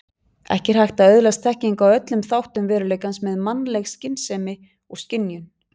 Ekki er hægt að öðlast þekkingu á öllum þáttum veruleikans með mannleg skynsemi og skynjun.